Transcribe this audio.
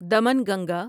Damanganga